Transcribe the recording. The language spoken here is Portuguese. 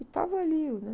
Que estava ali o Ney,